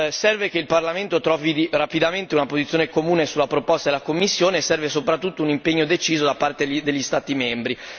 Serve che il Parlamento trovi rapidamente una posizione comune sulla proposta della Commissione e serve, soprattutto, un impegno deciso da parte degli Stati membri.